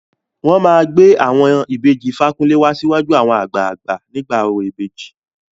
Wọn máa gbé àwọn ìbejì Fakunle wá síwájú àwọn àgbààgbà nígbà orò ìbejì.